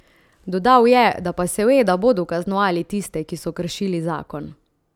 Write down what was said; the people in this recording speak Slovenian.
Dodal je, da pa seveda bodo kaznovali tiste, ki so kršili zakon.